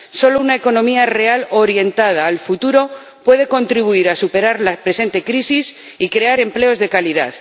Solo una economía real orientada al futuro puede contribuir a superar la presente crisis y crear empleos de calidad.